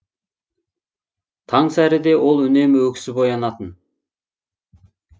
таңсәріде ол үнемі өксіп оянатын